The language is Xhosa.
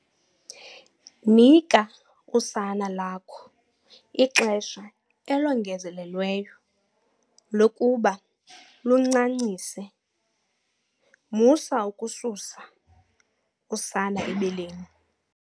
Nika usana lakho ixesha elongezelelweyo lokuba luncancise musa ukususa usana ebeleni.